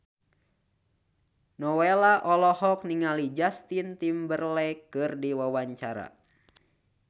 Nowela olohok ningali Justin Timberlake keur diwawancara